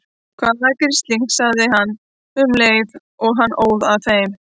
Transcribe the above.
Hvaða grisling. sagði hann um leið og hann óð að þeim.